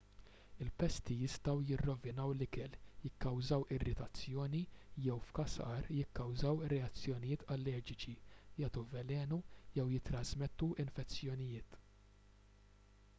il-pesti jistgħu jirrovinaw l-ikel jikkawżaw irritazzjoni jew f'każ agħar jikkawżaw reazzjonijiet allerġiċi jagħtu velenu jew jittrażmettu infezzjonijiet